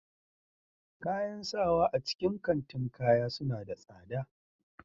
Kayan sawa a cikin kantin kaya suna da tsada